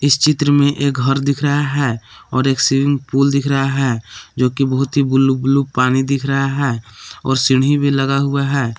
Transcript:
इस चित्र में एक घर दिख रहा है और एक स्विमिंग पूल दिख रहा है जो कि बहुत ही ब्लू ब्लू पानी दिख रहा है और सीढ़ी लगा हुआ है।